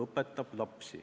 Ta õpetab lapsi.